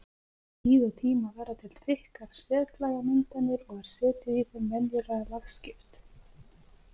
Með tíð og tíma verða til þykkar setlagamyndanir og er setið í þeim venjulega lagskipt.